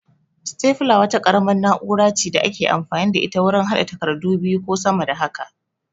Sitefula wata ƙaramar na'ura ce da ake amfani da ita wurin haɗa takardu biyu ko sama da haka